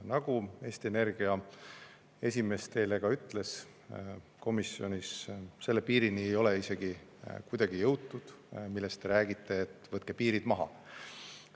Nagu Eesti Energia esimees teile ka komisjonis ütles, selle piirini ei ole mitte kuidagi jõutud, mille kohta te räägite, et võtke piirid maha.